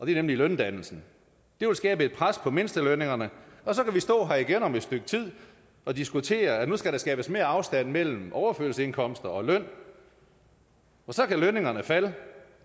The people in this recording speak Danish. er nemlig løndannelsen det vil skabe et pres på mindstelønningerne og så kan vi stå her igen om et stykke tid og diskutere at nu skal der skabes mere afstand mellem overførselsindkomster og løn og så kan lønningerne falde